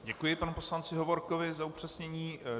Děkuji panu poslanci Hovorkovi za upřesnění.